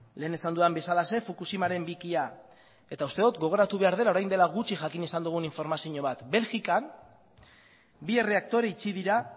lehen esan dudan bezalaxe fukushimaren bikia eta uste dut gogoratu behar dela orain dela gutxi jakin izan dugun informazio bat belgikan bi erreaktore itxi dira